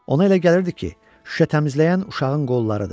Ona elə gəlirdi ki, şüşə təmizləyən uşağın qollarıdır.